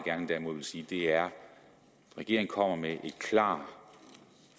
gerne vil sige er at regeringen kommer med et klart